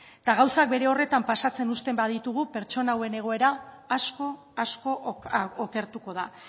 eta gauzak bere horretan pasatzen uzten baditugu pertsona hauen egoera asko asko okertuko da